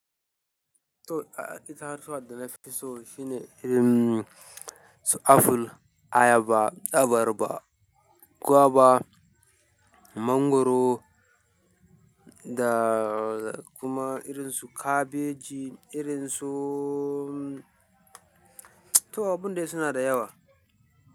To, itatuwa da na fi so shine irin su aful, ayaba, abarba, gwaiba, mangwaro da kuma irin su kabeji, irin su. To abin dai suna da yawa.